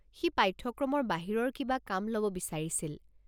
সি পাঠ্যক্ৰমৰ বাহিৰৰ কিবা কাম ল'ব বিচাৰিছিল।